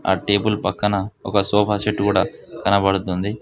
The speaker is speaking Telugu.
ఆ టేబుల్ పక్కన ఒక సోఫా సెట్ కూడా కనబడుతుంది.